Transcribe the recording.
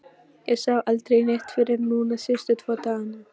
Ég sá aldrei neitt fyrr en núna síðustu tvo dagana